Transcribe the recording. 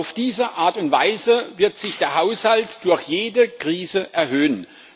Auf diese Art und Weise wird sich der Haushalt durch jede Krise erhöhen.